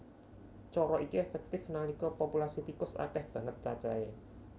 Cara iki éféktif nalika populasi tikus akéh banget cacahé